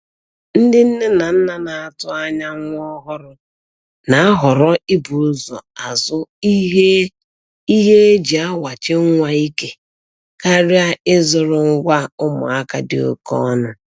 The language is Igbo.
Ndị nne na nna na-atụanya nwa ọhụrụ na-ahọrọ ibu ụzọ azụ ihe e ihe e ji awachi nwa ike karịa ịzụrụ ngwa ụmụaka dị oke ọnụ.